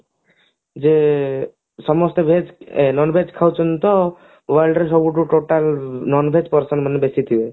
ଯେ ସମସ୍ତେ veg non veg ଖାଉଛନ୍ତି ତ world ରେ ସବୁଠୁ total non veg person ମାନେ ବେଶୀ ଥିବେ